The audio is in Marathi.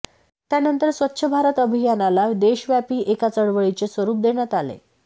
त्यानंतर स्वच्छ भारत अभियानाला देशव्यापी एका चळवळीचे स्वरूप देण्यात आले